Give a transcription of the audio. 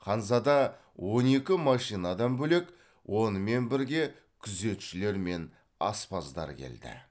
ханзада он екі машинадан бөлек онымен бірге күзетшілер мен аспаздар келді